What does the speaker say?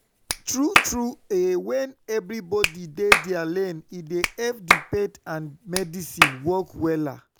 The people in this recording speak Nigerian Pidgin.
tru tru eh wen everybodi dey dia lane e dey epp di faith and medicine work wella